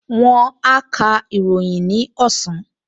Wón á ka ìròyìn ní ọ̀sán